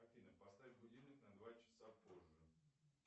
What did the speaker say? афина поставь будильник на два часа позже